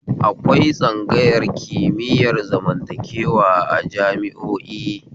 Akwai tsangayar kimiyar zamantakewa a jami'o'i